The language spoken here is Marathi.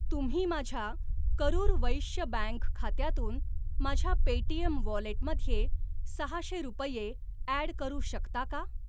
तुम्ही माझ्या करूर वैश्य बँक खात्यातून माझ्या पेटीएम वॉलेटमध्ये सहाशे रुपये ॲड करू शकता का?